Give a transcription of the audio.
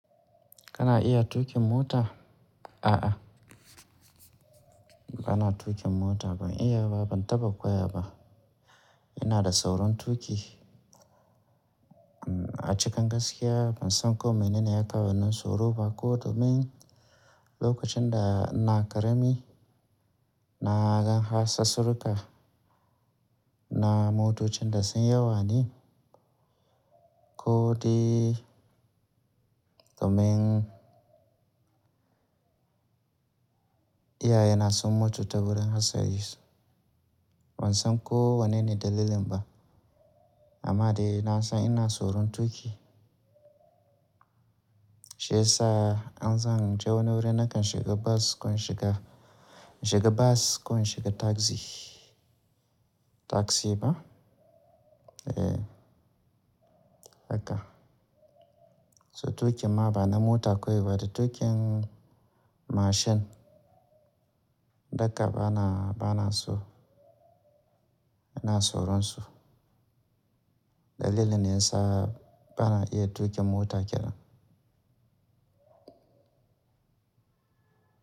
Kana iya tuƙin mota? A'a, bana tuƙin mota. Ban iya ba, ban taɓa koya ba. Ina da saurin tuƙi. A cikin gaskiya ban san ko mene ne ya kawo min tsoro ba. Ko domin lokacin da ina ƙarami na ga harsassuruka na motocin da sun yawa ne, ko dai domin iyaye na sun mutu ta wurin hatsari. Ban san ko wane ne dalilin ba, amma dai na san ina tsoron tuƙi. Shi yasa in zan je wani wuri nakan shiga bus ko in shiga, shiga bus ko in shiga taxi. Taxi ba? Eh haka. So tuƙin ma bana mota kawai ba da tuƙin mashin. Dukka bana, bana so. Ina tsoron su Dalilin yasa bana iya tuƙin mota kenan.